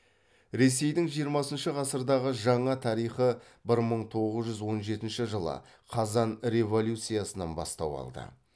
ресейдін жиырмасыншы ғасырдағы жаңа тарихы бір мың тоғыз жүз он жетінші жылы қазан революциясынан бастау алды